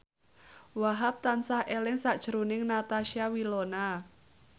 Wahhab tansah eling sakjroning Natasha Wilona